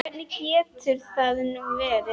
Hvernig getur það nú verið?